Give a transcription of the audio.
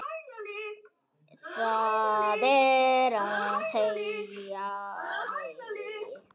Það er að segja mig.